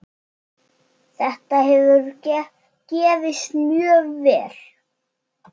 Þetta hefur gefist mjög vel.